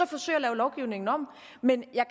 forsøge at lave lovgivningen om men jeg